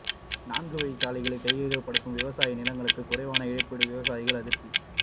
நான்குவழி சாலைக்கு கையகப்படுத்தும் விவசாய நிலங்களுக்கு குறைவான இழப்பீடு விவசாயிகள் அதிருப்தி